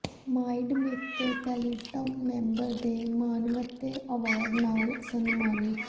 mind maker platinum member ਦੇ ਮਾਣਮੱਤੇ award ਨਾਲ ਸਨਮਾਨਿਤ